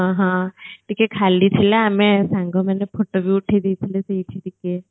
ହଁ ଟିକିଏ ଖାଲି ଥିଲା ଆମେ ସାଙ୍ଗ ମାନେ photo ଭି ଉଠେଇ ଦେଇଥିଲୁ ସେଇଠି ଟିକିଏ